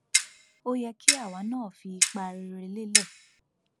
ó yẹ kí àwa náà fi ipa rere lélẹ